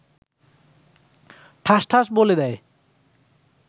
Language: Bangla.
ঠাস ঠাস বলে দেয়